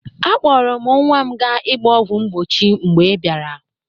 Akpọrụ m nwa m ga ịgba ọgwọ mgbochi mgbe ị bịara.